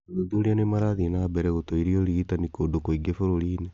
Athuthuria nĩ marathiĩ na mbere gũtuĩria ũrigitani kũndũ kũingĩ bũrũri-inĩ